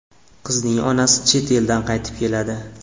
Qizning onasi chet eldan qaytib keladi.